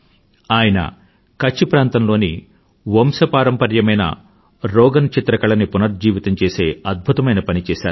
ఆయన కచ్ ప్రాంతంలోని వంశపారపర్యమైన రోగన్ చిత్రకళని పునర్జీవితం చేసే అద్భుతమైన పని చేశారు